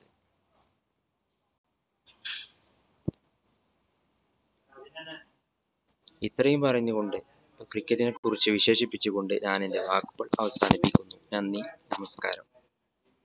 ഇത്രയും പറഞ്ഞ് കൊണ്ട് cricket നെ കുറിച്ചു വിശേഷിപ്പിച്ച്‌ കൊണ്ട് ഞാൻ എന്റെ വാക്കുകൾ അവസാനിപ്പിക്കുന്നു നന്ദി നമസ്കാരം.